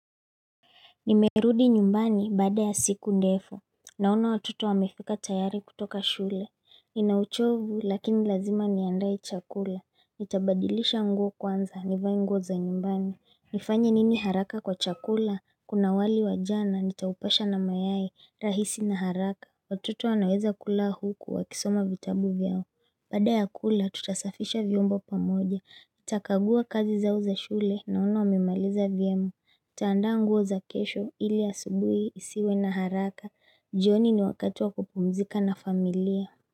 Nimerudi nyumbani baada ya siku ndefu Naona watoto wamefika tayari kutoka shule. Nina uchovu lakini lazima niandae chakula. Nitabadilisha nguo kwanza. Nivae nguo za nyumbani. Nifanya nini haraka kwa chakula. Kuna wali wajana. Nitaupasha na mayai. Rahisi na haraka. Watoto wanaweza kula huku. Wakisoma vitabu vyao. Bada ya kula tutasafisha vyombo pamoja. NItakagua kazi zao za shule. Naona wamimaliza vyema nitaandaa nguo za kesho ilia asubuhi nisiwe na haraka, jioni ni wakatiwa kupumzika na familia.